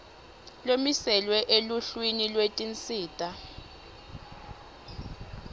lomiselwe eluhlwini lwetinsita